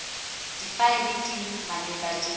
difaele tse di maleba di